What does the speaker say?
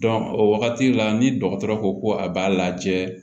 o wagati la ni dɔgɔtɔrɔ ko a b'a lajɛ